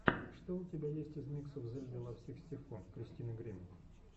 что у тебя есть из миксов зельды лав сиксти фо кристины гримми